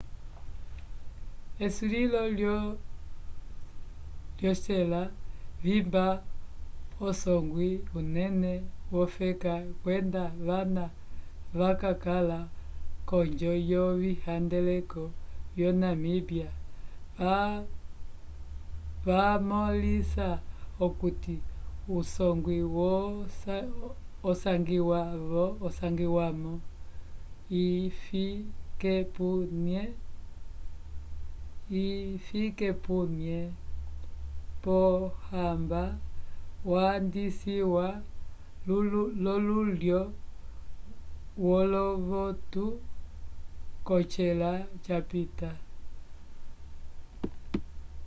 esulilo lyocela vimba usongwi unene wofeka kwenda vana vakakala k'onjo yovihandeleko lyo namíbia vamõlisa okuti usongwi osangiwa-mo hifikepunye pohamba wandisiwa lululwo wolovotu k'ocela capita